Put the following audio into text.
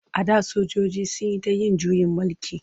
A da sojoji sun yi ta yin juyin mulki.